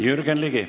Jürgen Ligi.